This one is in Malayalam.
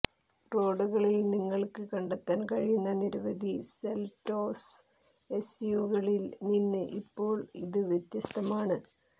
റോഡുകളിൽ നിങ്ങൾക്ക് കണ്ടെത്താൻ കഴിയുന്ന നിരവധി സെൽറ്റോസ് എസ്യുവികളിൽ നിന്ന് ഇപ്പോൾ ഇത് വ്യത്യസ്തമാണ്